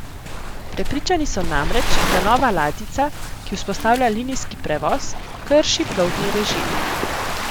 Prepričani so namreč, da nova ladjica, ki vzpostavlja linijski prevoz, krši plovbni režim.